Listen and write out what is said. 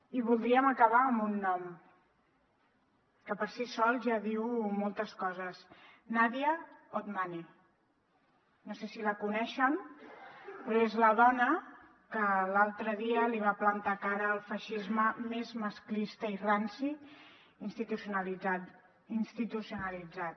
i voldríem acabar amb un nom que per si sol ja diu moltes coses nadia otmani no sé si la coneixen però és la dona que l’altre dia li va plantar cara al feixisme més masclista i ranci institucionalitzat